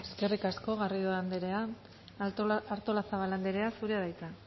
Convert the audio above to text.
eskerrik asko garrido andrea artolazabal andrea zurea da hitza